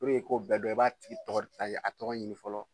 Puruke i k'o bɛɛ dɔn i b'a tigi tɔgɔ, ayi a tɔgɔ ɲini fɔlɔ.